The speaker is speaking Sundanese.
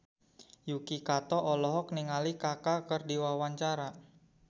Yuki Kato olohok ningali Kaka keur diwawancara